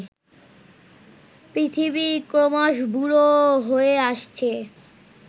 পৃথিবী ক্রমশ বুড়ো হয়ে আসছে